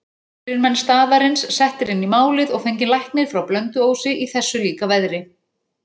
Fyrirmenn staðarins settir inn í málið og fenginn læknir frá Blönduósi í þessu líka veðri.